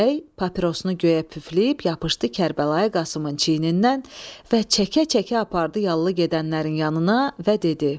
Bəy papirosunu göyə püfləyib yapışdı Kərbəlayı Qasımın çiynindən və çəkə-çəkə apardı yallı gedənlərin yanına və dedi: